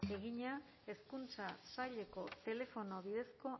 egina hezkuntza saileko telefono bidezko